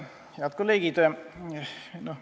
Head kolleegid!